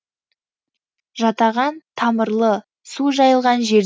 жатаған тамырлы су жайылған жер